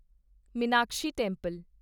Meenakshi temple